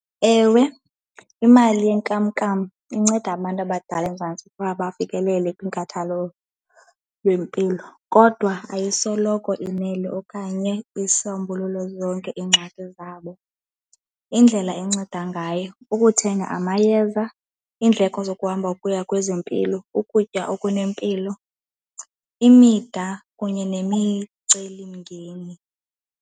Ewe, imali yenkamnkam inceda abantu abadala eMzantsi ukuba bafikelele kwinkathalo lwempilo kodwa ayisoloko inele okanye isombululo zonke iingxaki zabo. Indlela enceda ngayo, ukuthenga amayeza, iindleko zokuhamba ukuya kwezempilo, ukutya okunempilo, imida kunye nemicelimngeni.